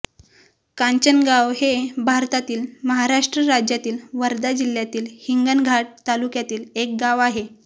कांचनगाव हे भारतातील महाराष्ट्र राज्यातील वर्धा जिल्ह्यातील हिंगणघाट तालुक्यातील एक गाव आहे